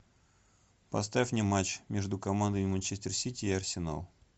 поставь мне матч между командами манчестер сити и арсенал